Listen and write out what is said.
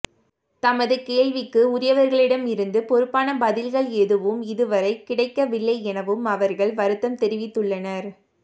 தமது கேள்விக்கு உரியவர்களிடமிருந்து பொறுப்பான பதில்கள் எதுவும் இதுவரை கிடைக்கவில்லை எனவும் அவர்கள் வருத்தம் தெரிவித்துள்ளனர்